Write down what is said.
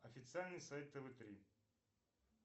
официальный сайт тв три